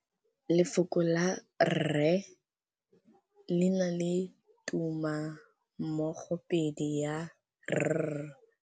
Lefoko la rre le na le tumammogôpedi ya, r.